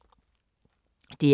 DR K